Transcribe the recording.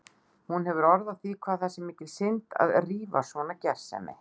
Hún hefur orð á því hvað það sé mikil synd að rífa svona gersemi.